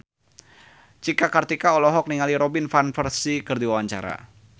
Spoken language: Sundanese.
Cika Kartika olohok ningali Robin Van Persie keur diwawancara